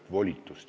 Tänan!